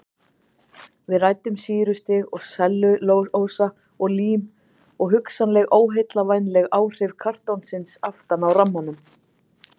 Við ræddum sýrustig og sellulósa og lím og hugsanleg óheillavænleg áhrif kartonsins aftan á rammanum.